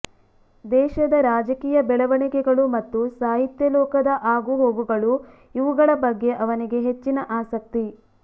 ದೇಶದ ರಾಜಕೀಯ ಬೆಳವಣಿಗೆಗಳು ಮತ್ತು ಸಾಹಿತ್ಯಲೋಕದ ಆಗುಹೋಗುಗಳು ಇವುಗಳ ಬಗ್ಗೆ ಅವನಿಗೆ ಹೆಚ್ಚಿನ ಆಸಕ್ತಿ